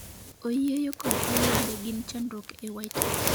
oyieyo kod olwende gin chandruok e white house.